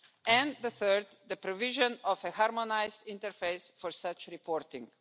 and the third the provision of a harmonised interface for such reporting.